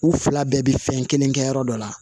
U fila bɛɛ bɛ fɛn kelen kɛ yɔrɔ dɔ la